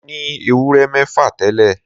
Mo ní ewúrẹ́ mẹ́fà tẹ́lẹ̀